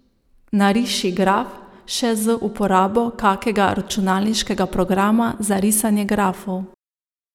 Nariši graf še z uporabo kakega računalniškega programa za risanje grafov.